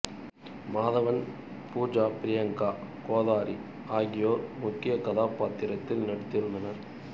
மாதவன் பூஜா பிரியங்கா கோதாரி ஆகியோர் முக்கிய கதாப்பாத்திரத்தில் நடித்திருந்தனர்